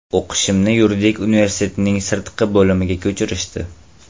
O‘qishimni yuridik universitetning sirtqi bo‘limiga ko‘chirishdi.